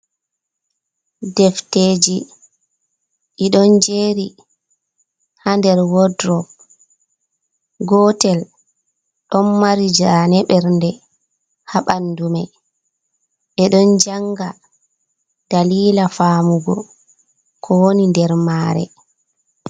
"Defteji" ɗiɗon jeri ha nder wordrop gotel ɗon mari jane bernde ha ɓandu me ɓeɗon janga dalila famugo ko woni nder mare.